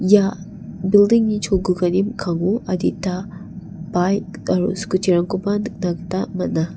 ia building -ni cholgugani mikkango adita baik aro scooty -rangkoba nikna gita man·a.